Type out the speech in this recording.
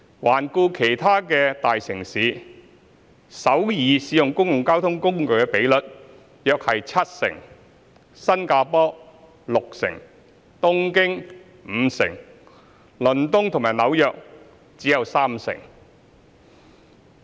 環顧其他大城市，首爾使用公共交通工具的比率約七成，新加坡六成，東京五成，倫敦及紐約則只有三成。